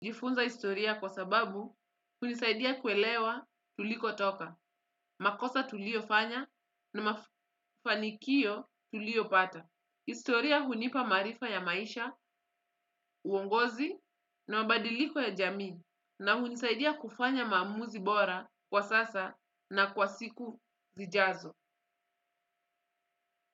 Jifunza historia kwa sababu hunisaidia kuelewa tuliko toka, makosa tuliofanya na mafanikio tulio pata. Historia hunipa maarifa ya maisha, uongozi na mabadiliko ya jamii na hunisaidia kufanya maamuzi bora kwa sasa na kwa siku zijazo.